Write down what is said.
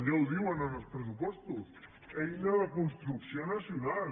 ja ho diuen en els pressupostos eina de construcció nacional